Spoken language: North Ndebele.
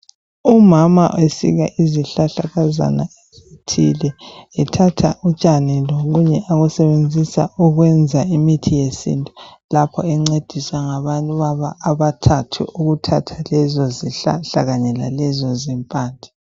Umama usika izihlahlakazana ezithile ethatha utshani lokunye akusebenzisa ukwenza imithi yesintu lapho angcediswa ngabanye ukubathathu ukuthatha lezi zihlahla lanye lalezo zimpande